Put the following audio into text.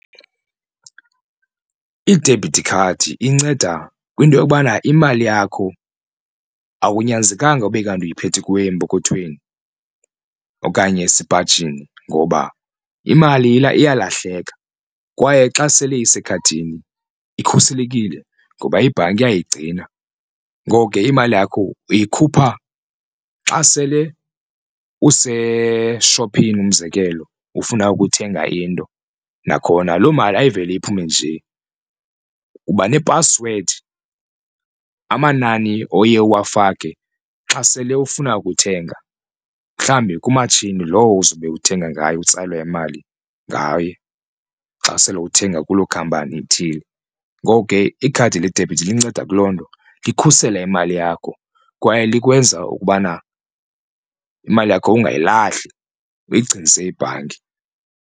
Idebhithi khadi inceda kwinto yokubana imali yakho akunyanzelekanga ube kanti uyiphethe kuwe empokothweni okanye esipajini ngoba imali iyalahleka kwaye xa sele isekhadini ikhuselekile ngoba iibhanki iyayigcina. Ngoko ke imali yakho uyikhupha xa sele useshophini, umzekelo ufuna ukuthenga into. Nakhona loo mali ayiveli iphume nje uba nephasiwedi amanani oye uwafake xa sele ufuna ukuthenga mhlawumbi kumatshini lowo uzobe uthenga ngayo utsalwe imali ngayo xa sele uthenga kuloo khampani ithile. Ngoko ke ikhadi ledebhithi linceda kuloo nto likhusela imali yakho kwaye likwenza ukubana imali yakho ungayilahli uyigcinise ibhanki.